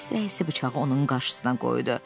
Deyə polis rəisi bıçağı onun qarşısına qoydu.